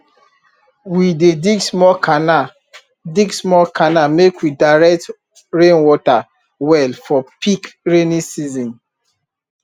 we dey dig small canal dig small canal make we direct rainwater well for peak rainy season